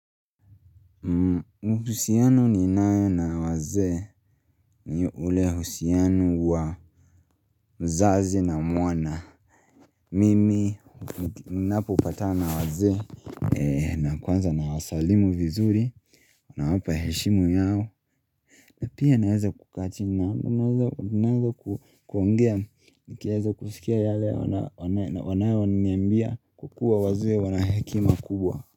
Mufusiano ni nayo na wazee ni ule uhusiano wa mzazi na mwana Mimi ninapopatana na wazee na kwanza na wasalimu vizuri na wapa heshimu yao na pia naweza kukaa chini na naweza kuongea nikiweza kusikia yale wanayo niambia kwakuwa wazee wanahekima kubwa.